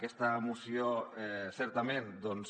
aquesta moció certament doncs